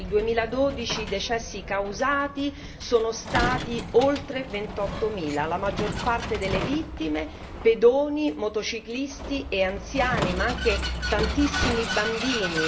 Nel 2012 i decessi causati sono stati oltre 28 mila, la maggior parte delle vittime pedoni, motociclisti e anziani, ma anche tantissimi bambini